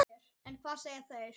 En hvað segja þeir?